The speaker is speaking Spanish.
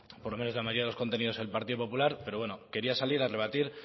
por lo menos en la mayoría de los contenidos el partido popular pero bueno quería salir a rebatir